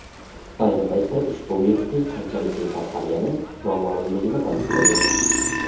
ayni paytda ushbu virusning qanchalik keng tarqalgani noma’lumligini ta’kidlagan.